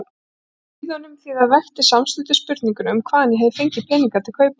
Hlíðunum, því það vekti samstundis spurninguna um hvaðan ég hefði fengið peninga til kaupanna.